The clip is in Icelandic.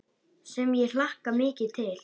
Sem ég hlakka mikið til.